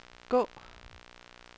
gå